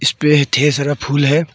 इस पे ढेर सारा फूल है।